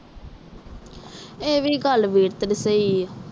ਇਹ ਵੀ ਗੱਲ ਵੀਰ ਤੇਰੀ ਸਹੀ ਆ